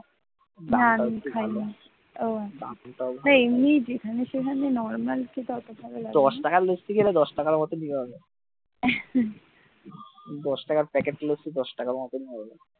দশ টাকার লস্যি খেলে তো দশ টাকার মতনই হবে দশ টাকার প্যাকেট লসি দশ টাকার মতনই হবে।